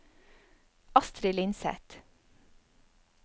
Astrid Lindseth